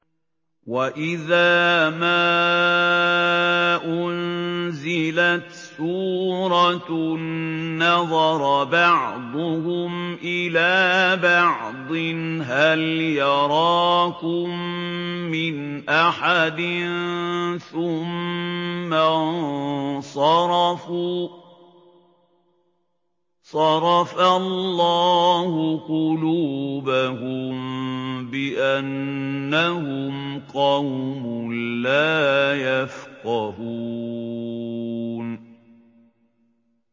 وَإِذَا مَا أُنزِلَتْ سُورَةٌ نَّظَرَ بَعْضُهُمْ إِلَىٰ بَعْضٍ هَلْ يَرَاكُم مِّنْ أَحَدٍ ثُمَّ انصَرَفُوا ۚ صَرَفَ اللَّهُ قُلُوبَهُم بِأَنَّهُمْ قَوْمٌ لَّا يَفْقَهُونَ